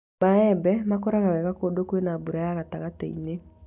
Maembe makũra wega kũndũ kwĩna mbura ya gatagatĩ-inĩ